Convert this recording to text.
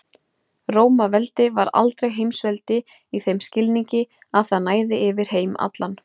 Rómaveldi var aldrei heimsveldi í þeim skilningi að það næði yfir heim allan.